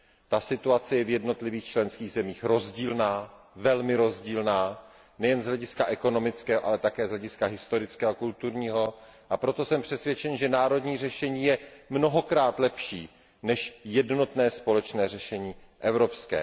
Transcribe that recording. Ta situace je v jednotlivých členských zemích rozdílná, velmi rozdílná nejen z hlediska ekonomického, ale také z hlediska historického a kulturního, a proto jsem přesvědčen, že národní řešení je mnohokrát lepší než jednotné společné řešení evropské.